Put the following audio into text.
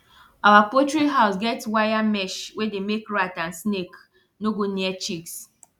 our poultry house get wire mesh wey dey make rat and snake no go near chicks